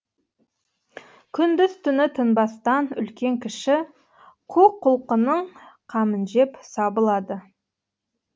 күндіз түні тынбастан үлкен кіші қу құлқынның қамын жеп сабылады